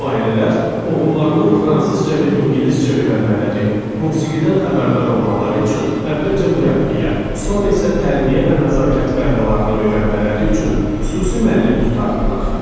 Bu ailələr oğullarının fransızca və ingiliscə öyrənmələri, musiqidən xəbərdar olmaları üçün əvvəlcə mürəbbiyə, sonra isə tərbiyə və nəzakət qaydalarını öyrənmələri üçün xüsusi müəllim tutardılar.